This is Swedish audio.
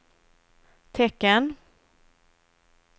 tecken